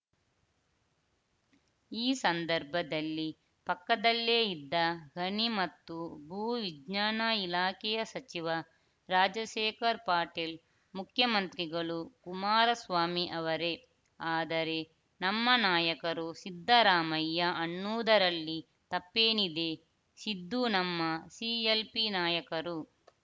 ಈ ಸಂದರ್ಭದಲ್ಲಿ ಪಕ್ಕದಲ್ಲೇ ಇದ್ದ ಗಣಿ ಮತ್ತು ಭೂ ವಿಜ್ಞಾನ ಇಲಾಖೆಯ ಸಚಿವ ರಾಜಶೇಖರ್ ಪಾಟೀಲ್ ಮುಖ್ಯಮಂತ್ರಿಗಳು ಕುಮಾರಸ್ವಾಮಿ ಅವರೇ ಆದರೆ ನಮ್ಮ ನಾಯಕರು ಸಿದ್ದರಾಮಯ್ಯ ಅನ್ನುವುದರಲ್ಲಿ ತಪ್ಪೇನಿದೆ ಸಿದ್ದು ನಮ್ಮ ಸಿಎಲ್‌ಪಿ ನಾಯಕರು